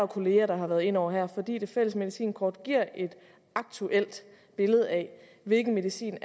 kollegaer der har været inde over fordi det fælles medicinkort giver et aktuelt billede af hvilken medicin